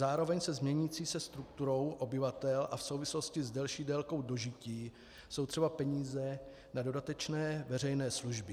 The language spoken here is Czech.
Zároveň s měnící se strukturou obyvatel a v souvislosti s delší délkou dožití jsou třeba peníze na dodatečné veřejné služby.